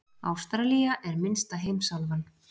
Ástralía er minnsta heimsálfan.